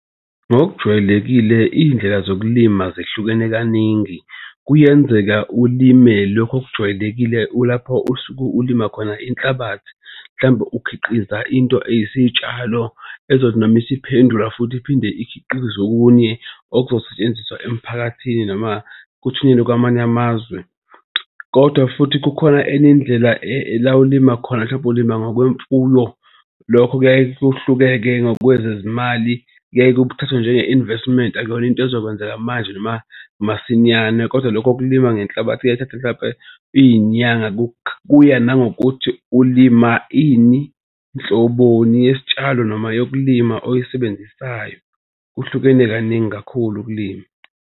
Ngokujwayelekile iy'ndlela zokulima zihlukene kaningi kuyenzeka ulime lokhu okujwayelekile ulapho usuke ulima khona inhlabathi mhlampe ukhiqiza into eliyisitshalo ezothi noma isiphendula futhi iphinde ikhiqize okunye okuzosetshenziswa emphakathini noma kuthunyelwe kwamanye amazwe. Kodwa futhi kukhona enye indlela la ulima khona mhlawumbe ulimi ngokwemfuyo lokho kuyaye kuhluke-ke ngokwezezimali kuyaye kuthathwe njenge-investment. Akuyona into ezokwenzeka manje noma masinyane kodwa lokho kulima ngenhlabathi kuyaye kuthathe mhlampe iy'nyanga. Kuya nangokuthi ulima ini nhloboni yesitshalo noma yokulima oyisebenzisayo. Kuhlukene kaningi kakhulu ukulima.